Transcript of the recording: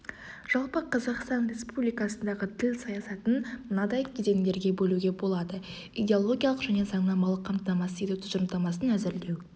жалпы қазақстан республикасындағы тіл саясатын мынадай кезеңдерге бөлуге болады идеологиялық және заңнамалық қамтамасыз ету тұжырымдамасын әзірлеу